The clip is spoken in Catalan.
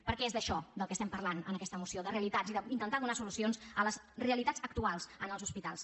perquè és d’això del que parlem en aqueta moció de realitats i d’intentar donar solucions a les realitats actuals en els hospitals